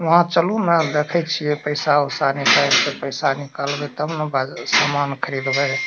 वहां चलू ना देखय छीये पैसा उसा निकाएल के पैसा निकालबे तब ना सामान खरीदबेय